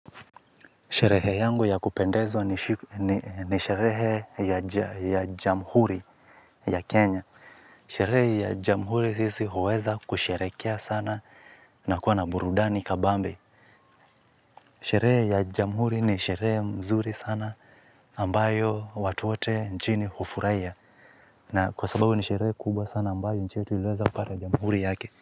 Sherehe yangu ya kupendezwa ni sherehe ya jamhuri ya Kenya. Sherehe ya jamhuri sisi huweza kusherekea sana na kuwa na burudani kabambe. Sherehe ya jamhuri ni sherehe mzuri sana ambayo watu wote nchini hufurahia. Na kwa sababu ni sherehe kubwa sana ambayo nchi yetu iliweza kupata jamhuri yake.